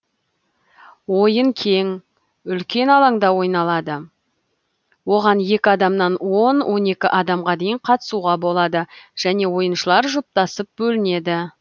ойын кең үлкен алаңда ойналады оған екі адамнан он он екі адамға дейін қатысуға болады және ойыншылар жұптасып бөлінеді